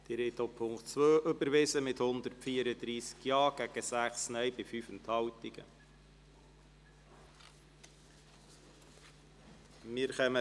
Sie haben auch den Punkt 2 der Motion mit 134 Ja- bei 6 Nein-Stimmen und 5 Enthaltungen überwiesen.